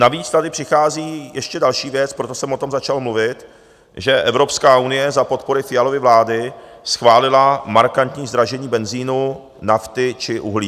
Navíc tady přichází ještě další věc, proto jsem o tom začal mluvit, že Evropská unie za podpory Fialovy vlády schválila markantní zdražení benzinu, nafty či uhlí.